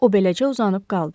O beləcə uzanıb qaldı.